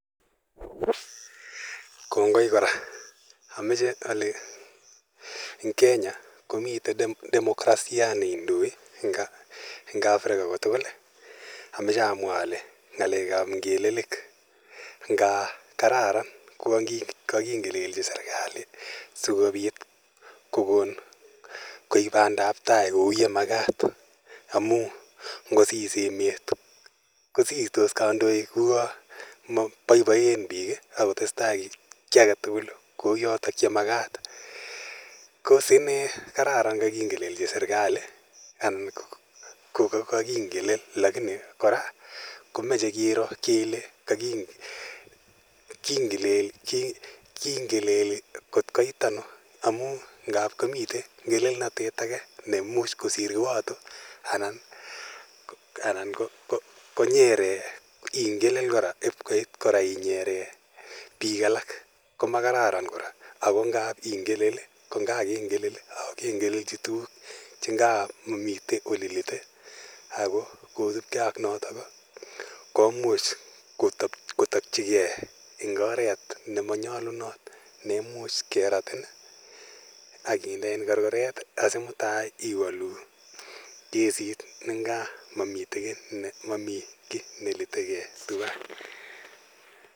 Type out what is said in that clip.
Kongoi kora amoche ale eng kenya komiten democracia neindoi eng africa kotugul ii amoche amwa ale ng'alekab ngelelik nga kararan kouwon kokingelelchi serikal sikobit kokon koib bandab tai kou ye makat amun ngosis emet kosistos kandoik kosistos kouwon boiboen biik akotesetai ki agetugul kou yotok yemakat kos inee kararan koking'elelchi serikali anan koko koking'elel lakini kora komoche kiro kele kingeleli kot koit anoo amun ngap komiten ngelelnotet ake nemuch kosir kiwoto anan konyeren ingelel ip kot kora inyere biik alak koma kararan ako ngap ingelel konga kengelelchi ingelelchi tukuk chengap momiten olelite ak kosipke ak noton komuch kotokyike eng oret nemanyolunot neimuch keratin eng korkoret asimutai iwolu kesit nengaa momiten ki neliteke tuwan.